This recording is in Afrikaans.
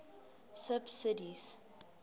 subsidies